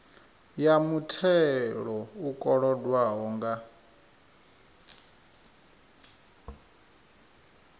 ya muthelo u kolodwaho nga